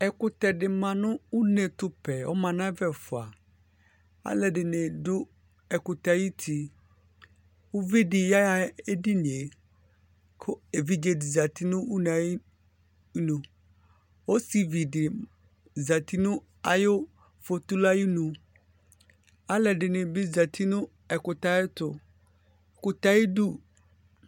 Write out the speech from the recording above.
Ɛƙʊtɛɗɩ ɔmanʊ ʊnetʊpɛɛ alʊɛɗɩnɩ aɗʊ ɛƙʊtɛ aƴʊtɩ ʊʋɩɗɩ ɔƴaha eɗɩnɩe ƙʊ eʋɩɗjeɗɩ ɔzanʊ ʊne aƴɩnʊ ɔsɩʋɩɗɩ ɔzatɩnʊ ʊɗʊnʊhlɔƴɛ alʊɛɗɩnɩɓɩ azatɩnʊ ɛƙʊtɛ aƴɩɗʊ